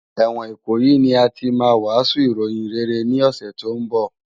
Èwòn Ikoyi ni àtí mà wàsún iróyin réré ni òsè tó n bò